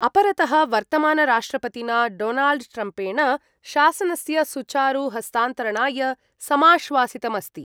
अपरतः, वर्तमानराष्ट्रपतिना डोनाल्ड् ट्रम्पेण शासनस्य सुचारु हस्तान्तरणाय समाश्वासितमस्ति।